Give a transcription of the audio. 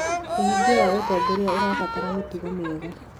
ũhingia wa ũtongoria ũbataraga mĩtugo mĩega.